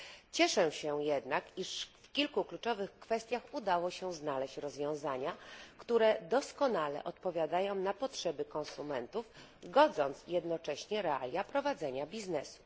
Cieszę się jednak, iż w kilku kluczowych kwestiach udało się znaleźć rozwiązania, które doskonale odpowiadają na potrzeby konsumentów, godząc jednocześnie realia prowadzenia biznesu.